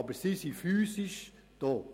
Aber sie sind physisch hier.